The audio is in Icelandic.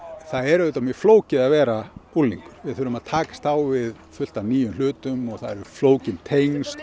það er auðvitað mjög flókið að vera unglingur við þurfum að takast á við fullt af nýjum hlutum það eru flókin tengsl